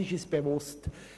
Das ist uns bewusst.